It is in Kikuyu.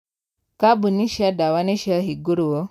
Kambuni cia dawa nĩciahingũrwo.